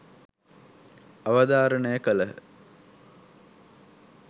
අවධාරණය කළහ.